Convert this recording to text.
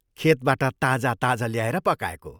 खेतबाट ताजा ताजा ल्याएर पकाएको।